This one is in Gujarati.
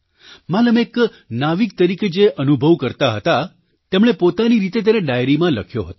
માલમ એક નાવિક તરીકે જે અનુભવ કરતા હતા તેમણે પોતાની રીતે તેને ડાયરીમાં લખ્યો હતો